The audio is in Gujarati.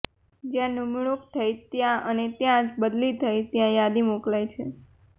જ્યાં નિમણૂંક થઇ ત્યાં અને જ્યાં બદલી થઇ ત્યાં યાદી મોકલાઇ છે